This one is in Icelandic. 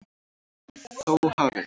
Þó hafi